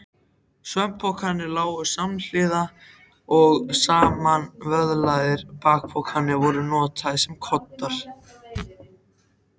Svefnpokarnir lágu samhliða og samanvöðlaðir bakpokarnir voru notaðir sem koddar.